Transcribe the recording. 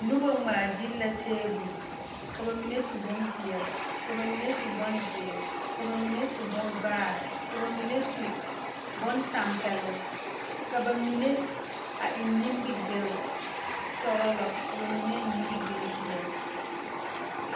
Noba ŋmaa gyile la taabol ka ba mime su bompeɛle ka ba mine su bonzeere ka ba mime su bon vaare ka ba mine su bontɛmpeloŋ ka ba mine a eŋ nimigele sɔgelɔ ka ba mine eŋ nimigele peɛle